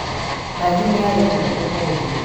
Nathi nĩarĩhwo ũmũthĩ